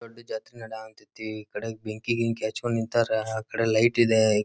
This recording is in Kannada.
ದೊಡ್ಡ್ ಜಾತ್ರೆ ನಡೆಯ ಹಂತತಿ ಕಡೆಗ್ ಬೆಂಕಿ ಗಿಂಕಿ ಹಚ್ಕೊಂಡ್ ನಿಂತರೆ ಆ ಕಡೆ ಲೈಟ್ ಇದೆ.